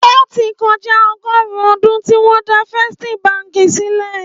Ótì kòjá ọgọ́ọ̀rún ódùn tiwòn dà Fèstí bànkí silè